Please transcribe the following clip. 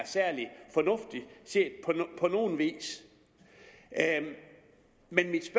særlig fornuftig set på nogen vis men mit